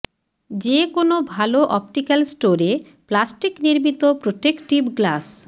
যে কোনও ভাল অপটিক্যাল স্টোরে প্লাস্টিক নির্মিত প্রোটেকটিভ গ্লাস